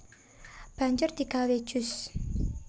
Banjur digawé jus